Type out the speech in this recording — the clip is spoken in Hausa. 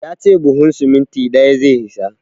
Ya ce buhun siminti ɗaya zai isa.